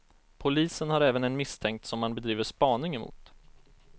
Polisen har även en misstänkt som man bedriver spaning emot.